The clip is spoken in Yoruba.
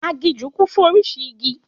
Aginjù kún fún orísìí igi